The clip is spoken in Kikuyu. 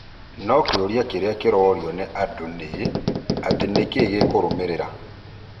No kĩũria kĩrĩa kĩrorio nĩ o mũndũ ni: atĩ nĩkĩĩ gĩkũrũmĩrĩra?